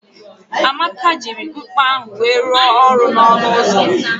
Amaka jiri mkpa ahụ wee rụọ ọrụ n'ọnụ ụzọ